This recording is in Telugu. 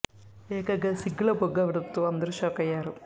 ఏకంగా సిగ్గుల మొగ్గ అవ్వడం తో అందరు షాక్ అయ్యారు